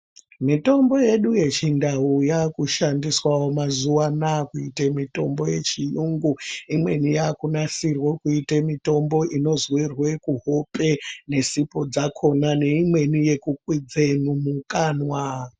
Mitombo yedu yechindau yakushandiwawo mazuwa anaa kuita mitombo yechiyungu imweni yakunasirwa kuita mitombo inozorwe kuhope nesipo dzakona neimweni yekukwidza mumukanwa.